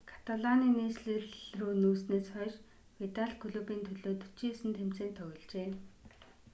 каталаны нийслэл рүү нүүснээс хойш видал клубын төлөө 49 тэмцээнд тогложээ